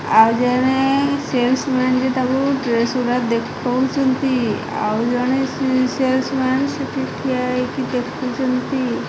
ଆଉ ଜଣେ salesman ବି ତାକୁ ଡ୍ରେସ୍ ଗୁଡ଼ା ଦେଖାଉଛନ୍ତି ଆଉ ଜଣେ ସି ସେଲସ୍ ମ୍ୟାନ୍ ସେଠି ଠିଆ ହୋଇକି ଦେଖୁଛନ୍ତି।